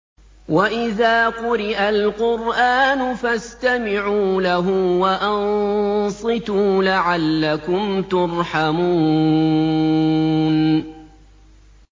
وَإِذَا قُرِئَ الْقُرْآنُ فَاسْتَمِعُوا لَهُ وَأَنصِتُوا لَعَلَّكُمْ تُرْحَمُونَ